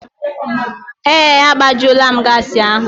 Yes, I have refilled the gas.